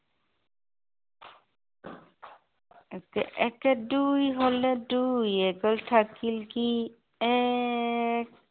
একে একে দুই হলে, দুইৰ এক গ'ল থাকিল কি, এক।